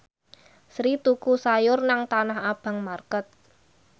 Sri tuku sayur nang Tanah Abang market